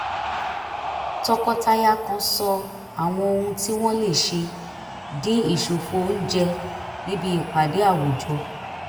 tọkọtaya kan sọ àwọn ohun tí wọ́n lè ṣe dìn ìṣòfò oúnjẹ níbi ìpàdé àwùjọ